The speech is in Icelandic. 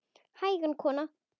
Hægan kona!